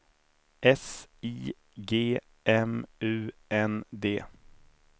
S I G M U N D